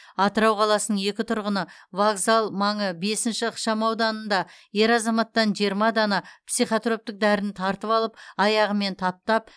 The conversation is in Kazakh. атырау қаласының екі тұрғыны вокзал маңы бесінші ықшамауданында ер азаматтан жиырма дана психотроптық дәріні тартып алып аяғымен таптап